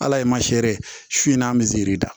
Ala ye masɛri su in n'a bɛ zɛri da